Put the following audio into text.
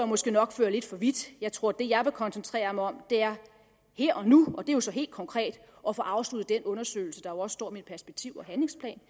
måske nok fører lidt for vidt jeg tror at det jeg vil koncentrere mig om er her og nu og det er så helt konkret at få afsluttet den undersøgelse der jo også står om i perspektiv og handlingsplanen